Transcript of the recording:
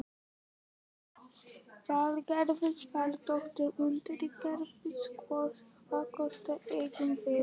Það er byrjað að rigna og þeir herða gönguna.